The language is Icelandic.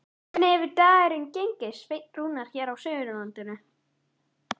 Hvernig hefur dagurinn gengið, Sveinn Rúnar, hér á Suðurlandinu?